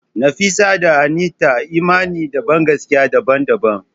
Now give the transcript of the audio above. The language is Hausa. Nafisa da Anita imani da bangaskiya daban-daban.